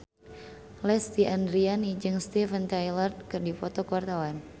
Lesti Andryani jeung Steven Tyler keur dipoto ku wartawan